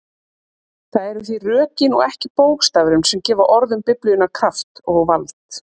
Það eru því rökin og ekki bókstafurinn sem gefa orðum Biblíunnar kraft og vald.